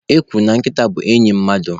E kwuru na Nkịta bụ enyị mmadụ.